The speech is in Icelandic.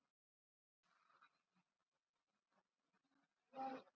En hann varð líka að gera ráð fyrir öðrum möguleikum.